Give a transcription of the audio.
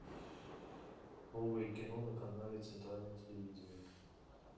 новое кино на канале центральное телевидение